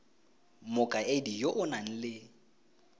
mokaedi yo o nang le